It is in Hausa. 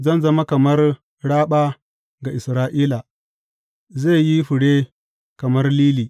Zan zama kamar raɓa ga Isra’ila zai yi fure kamar lili.